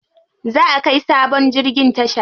Za'a kai sabon jirgin tasha.